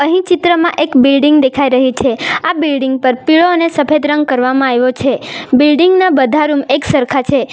અહીં ચિત્રમાં એક બિલ્ડીંગ દેખાઈ રહી છે આ બિલ્ડિંગ પર પીળો અને સફેદ રંગ કરવામાં આયવો છે બિલ્ડીંગ ના બધા રૂમ એક સરખા છે.